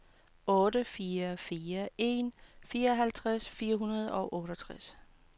otte fire fire en fireoghalvtreds fire hundrede og otteogtres